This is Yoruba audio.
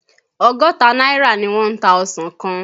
Ọgọ́ta náírà ni wọ́n ń ta ọsàn kan.